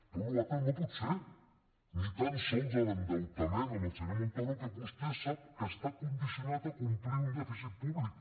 tot allò altre no pot ser ni tan sols l’endeutament amb el senyor montoro que vostè sap que està condicionat a complir un dèficit públic